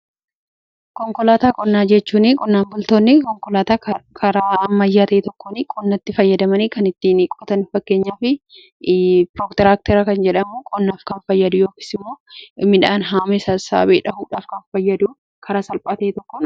Konkolaataa qonnaa jechuun qonnaan bultoonni konkolaataa karaa ammayyaa'ee tokkon qonnatti fayyadamanii kan ittiin qotan. Fakkeenyaa fi tiraaktera kan jedhamu qonnaaf kan fayyadu yookis immoo midhaan haame sasaabee dha'uudhaaf kan fayyadu karaa salphaate tokkonidha.